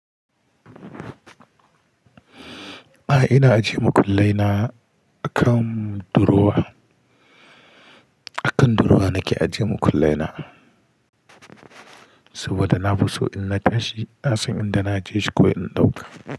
A'a ina ajiye makullai na a kan durowa, a kan durowa nake ajiye makullai na saboda na fi so in na tashi na san inda na je shi ko in ɗauka.